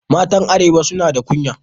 Matan arewa su na da kunya.